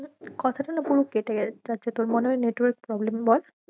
কথাটা না পুরো কেটে যাচ্ছে, তোর মনেহয়ে network problem বল